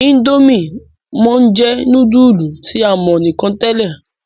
Indomie món jé nudulu tí a mọ nìkàn tèlé.